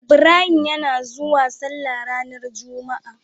Ibrahim yana zauwa sallah ranar juma a